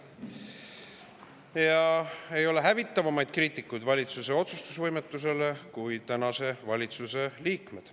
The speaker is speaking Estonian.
Ja ei ole hävitavamaid kriitikuid valitsuse otsustusvõimetusele kui tänase valitsuse liikmed.